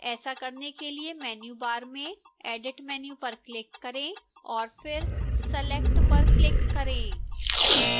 ऐसा करने के लिए menu bar में edit menu पर click करें और फिर select पर click करें